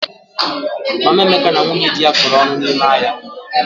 Mama Emeka na nwunye dị ya kọrọ ọnụ n'ime ahịa.